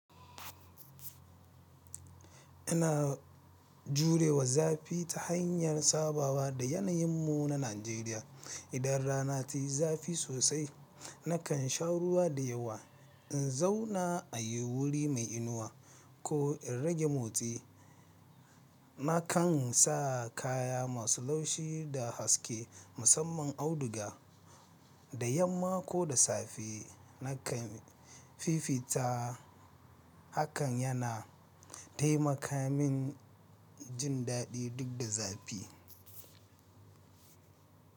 Ina jurewa zafi ta hanyar sabawa da yanayin mu na Najeriya. Idan rana tayi zafi sosai, nakan sha ruwa da yawa, in zauna a yi wuri mai inuwa ko in rage motsi. Nakan sa kaya masu laushi da haske musamman auduga. Da yamma ko da safe nakan fifita. Hakan yana taimaka min jin daɗi duk da zafi.